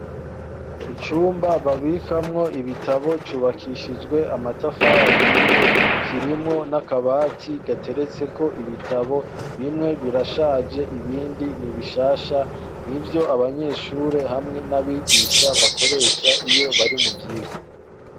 Icumba babikamwo ibitabo cubakishijwe amatafahiye kirimwo n'akabati gateretse ko ibitabo bimwe birashaje ibindi nibishasha ni vyo abanyeshure hamwe n'abigisha bakoresha iyo bari mu vyigo.